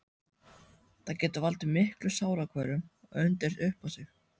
Það getur valdið miklum sálarkvölum og undið upp á sig.